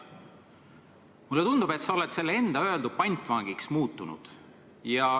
" Mulle tundub, et sa oled selle enda öeldu pantvangiks muutunud.